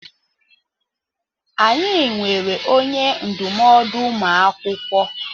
Anyị nweere onye ndụmọdụ ụmụ akwụkwọ.